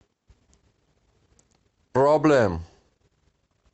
проблем